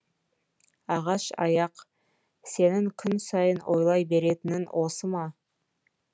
ағаш аяқ сенің күн сайын ойлай беретінің осы ма